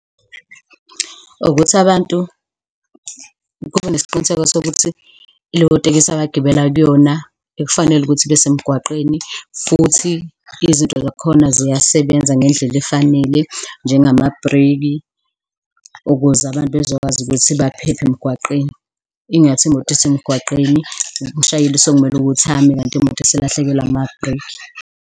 Ukuthi abantu kube nesiqiniseko sokuthi leyo tekisi abagibela kuyona ikufanele ukuthi ibesemgwaqeni futhi izinto zakhona ziyasebenza ngendlela efanele njengamabhreki, ukuze abantu bezokwazi ukuthi baphephe emgwaqeni, ingathi imoto isemgwaqeni umshayeli sekumele ukuthi ame, kanti imoto iselahlekelwe amabhreki.